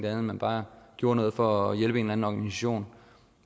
at man bare gjorde noget for at hjælpe en eller anden organisation